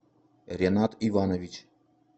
ренат иванович